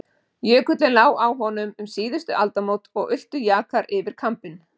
Jökullinn lá á honum um síðustu aldamót og ultu jakar yfir kambinn.